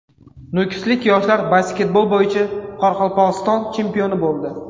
Nukuslik yoshlar basketbol bo‘yicha Qoraqalpog‘iston chempioni bo‘ldi.